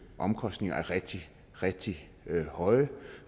omkostninger er rigtig rigtig høje